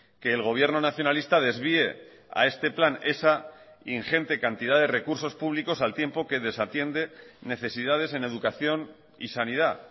que el gobierno nacionalista desvié a este plan esa ingente cantidad de recursos públicos al tiempo que desatiende necesidades en educación y sanidad